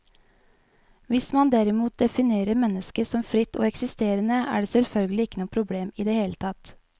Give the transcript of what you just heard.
Hvis man derimot definerer mennesket som fritt og eksisterende, er det selvfølgelig ikke noe problem i det hele tatt.